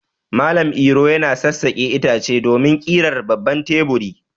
Malam Iro yana sassaƙe itace domin ƙirar babban teburi.